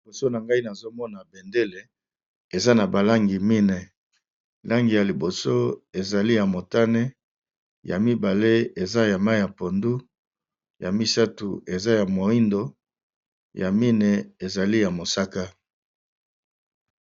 Liboso na ngai nazomona bendele eza na balangi mine langi ya liboso ezali ya motane ya mibale eza ya mai ya pondu ya misatu eza ya moindo ya mine ezali ya mosaka.